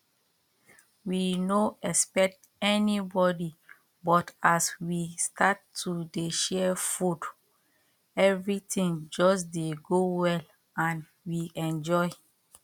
we no expect anybody but as we start to dey share food everything just dey go well and we enjoy